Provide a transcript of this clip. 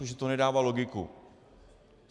Protože to nedává logiku.